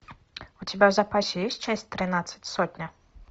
у тебя в запасе есть часть тринадцать сотня